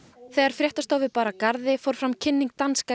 þegar fréttastofu bar að garði fór fram kynning danska